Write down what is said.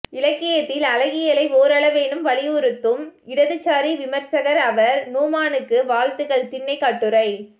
இலக்கியத்தில் அழகியலை ஓரளவேனும் வலியுறுத்தும் இடதுசாரி விமர்சகர் அவர் நுஃமானுக்கு வாழ்த்துக்கள் திண்ணை கட்டுரை